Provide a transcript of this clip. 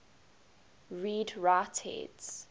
read write heads